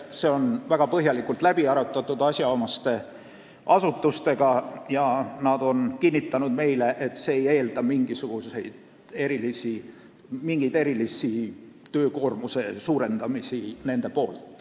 See on väga põhjalikult läbi arutatud asjaomaste asutustega ja nad on meile kinnitanud, et see ei eelda neilt mingit erilist töökoormuse suurendamist.